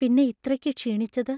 പിന്നെ ഇത്രയ്ക്ക് ക്ഷീണിച്ചത്?